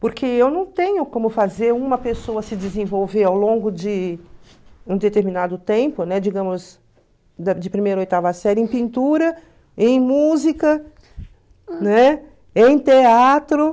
Porque eu não tenho como fazer uma pessoa se desenvolver ao longo de um determinado tempo, né, digamos, de primeira ou oitava série, em pintura, em música, né, em teatro.